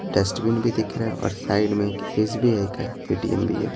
Dustbin भी दिख रहे और साइड में एक एस_बी_आई का ए_टी_एम भी है।